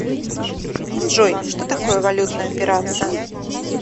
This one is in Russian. джой что такое валютная операция